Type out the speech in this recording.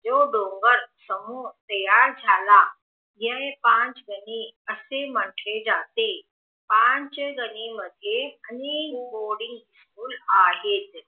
जो डोंगर समूह तयार झाला ये पंचदणी असे म्हटले जाते पाचदनी मध्ये अनेक अनेक बोर्डिंग स्कूल आहे